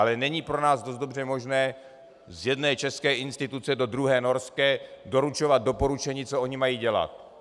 Ale není pro nás dost dobře možné z jedné české instituce do druhé norské doručovat doporučení, co oni mají dělat.